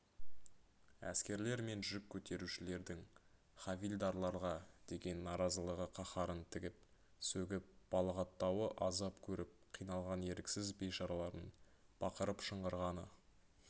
әскерлер мен жүк көтерушілердің хавильдарларға деген наразылығы қаһарын тігіп сөгіп балағаттауы азап көріп қиналған еріксіз бейшаралардың бақырып шыңғырғаны